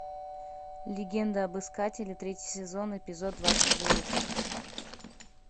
легенда об искателе третий сезон эпизод двадцать девять